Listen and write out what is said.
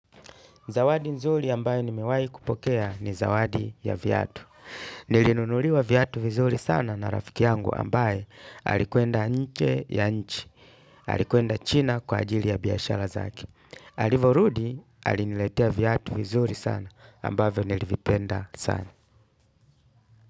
Zawadi nzuri ambayo nimewai kupokea ni zawadi ya viatu. Nilinunuliwa viatu vizuri sana na rafiki yangu ambaye alikuenda nje ya nchi. Alikuenda china kwa ajili ya biashara zake. Alivorudi aliniletea viatu vizuri sana ambavyo nilivipenda sana.